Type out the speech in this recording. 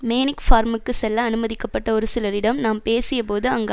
manic ஃபார்முக்கு செல்ல அனுமதிக்கப்பட்ட ஒரு சிலரிடம் நாம் பேசிய போது அங்கு